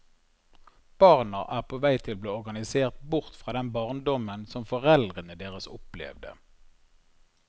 Barna er på vei til å bli organisert bort fra den barndommen som foreldrene deres opplevde.